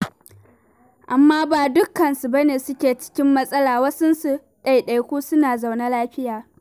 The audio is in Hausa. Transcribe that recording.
Amma ba dukkansu ba ne suke cikin matsala, wasunsu, ɗaiɗaiku suna zaune lafiya.